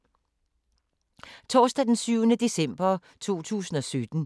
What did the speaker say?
Torsdag d. 7. december 2017